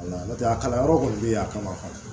N'o tɛ a kalanyɔrɔ kɔni bɛ yen a kama